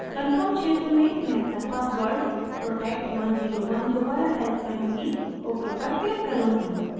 confirm क्षेत्र में मैं अपना password protect101 दोबरा type करुँगी ok पर click करुँगी